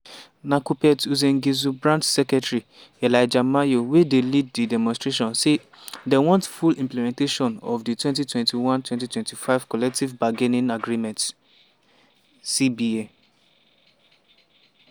na kuppet uasin gishu branch secretary elijah maiyo wey dey lead di demonstration say dem want full implementation of di 2021-2025 collective bargaining agreement (cba).